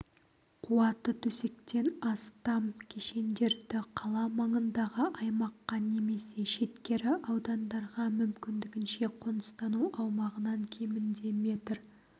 қуаты төсектен астам кешендерді қала маңындағы аймаққа немесе шеткері аудандарға мүмкіндігінше қоныстану аумағынан кемінде метр